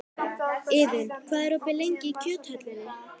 Iðunn, hvað er opið lengi í Kjöthöllinni?